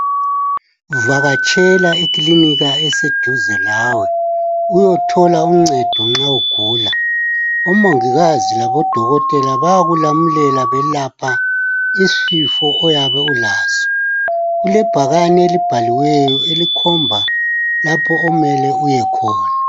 Vakatshela eklinika eseduze lawe, uyothola uncedo nxa ugula. Omongikazi labodokotela bayakulamulela belapha isifo oyabe ulaso. Kulebhakani elibhaliweyo elikhomba lapho omele uyekhona.